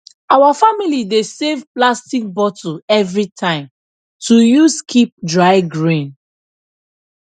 our family dey save plastic bottle every time to use keep dry grain